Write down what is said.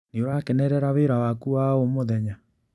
Nĩũrakenerera wĩra waku wa o mũthenya?